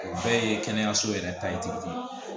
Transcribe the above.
O bɛɛ ye kɛnɛyaso yɛrɛ ta ye